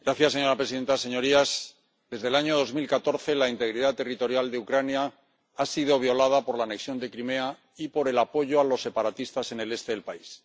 Señora presidenta, señorías, desde el año 2014 la integridad territorial de Ucrania ha sido violada por la anexión de Crimea y por el apoyo a los separatistas en el este del país.